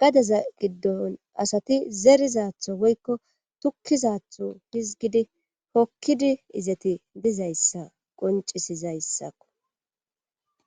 gadeza giddon asati zerizatho woykko tokkizatho hizgidi hokkidi izeti dizayssa qoncisizayssakko